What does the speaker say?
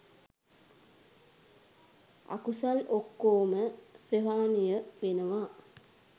අකුසල් ඔක්කෝම ප්‍රහාණය වෙනවා.